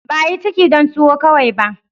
Ba a yi ciki dan tuwo kawai ba.